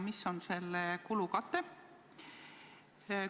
Mis on selle kulu katteallikas?